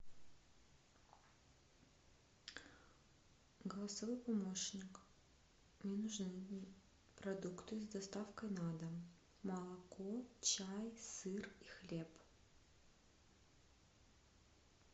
голосовой помощник мне нужны продукты с доставкой на дом молоко чай сыр и хлеб